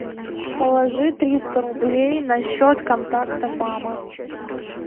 положи триста рублей на счет контакта мама